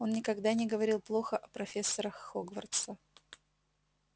он никогда не говорил плохо о профессорах хогвартса